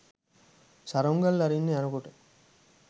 සරුංගල් අරින්න යනකොට